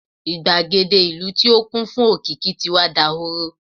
igbagede ìlú ti o kún fún òkìkí ti wà dahoro